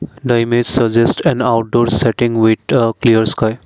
The image suggest an outdoor setting with a clear sky.